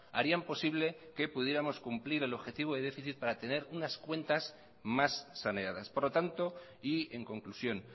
harían posible que pudiéramos cumplir el objetivo de déficit para tener unas cuentas mas saneadas por lo tanto y en conclusión